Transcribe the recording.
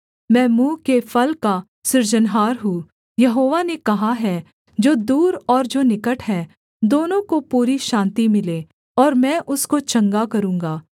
मैं मुँह के फल का सृजनहार हूँ यहोवा ने कहा है जो दूर और जो निकट हैं दोनों को पूरी शान्ति मिले और मैं उसको चंगा करूँगा